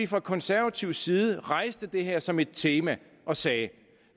fra konservativ side rejste det her som et tema og sagde